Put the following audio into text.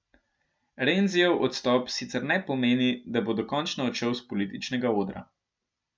Renzijev odstop sicer ne pomeni, da bo dokončno odšel s političnega odra.